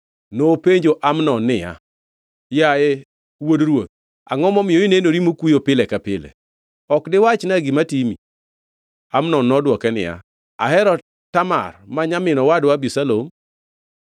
Nopenjo Amnon niya, “Yaye wuod ruoth, angʼo momiyo inenori mokuyo pile ka pile? Ok diwachna gima timi?” Amnon nodwoke niya, “Ahero Tamar ma nyamin owadwa Abisalom.”